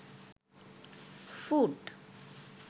foot